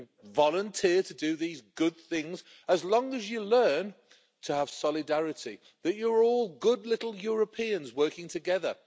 You can volunteer to do these good things as long as you learn to have solidarity that you are all good little Europeans working together.